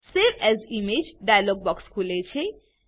save as imageડાઈલોગ box ખુલે છે